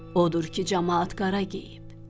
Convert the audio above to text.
Odur ki, camaat qara geyib.